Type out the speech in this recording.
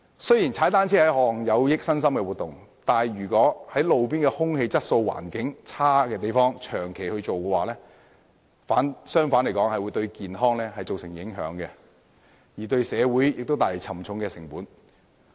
雖然踏單車是一項有益身心的活動，但如在路邊空氣質素欠佳的環境下長期進行，反而會對健康造成影響，亦會為社會帶來沉重的成本。